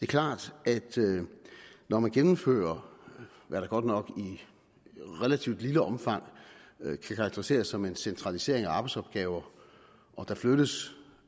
klart at når man gennemfører hvad der godt nok i relativt lille omfang kan karakteriseres som en centralisering af arbejdsopgaver der flyttes